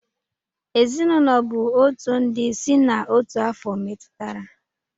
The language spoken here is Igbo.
Ezinụlọ bụ otu ndị si na otu afo metụtara.